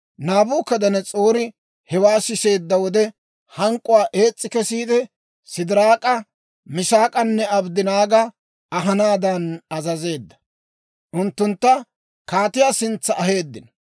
Naabukadanas'oori hewaa siseedda wode, hank'k'uwaa ees's'i kesiide, Sidiraak'a, Misaak'anne Abddanaaga ahanaadan azazeedda. Unttuntta kaatiyaa sintsa aheeddino.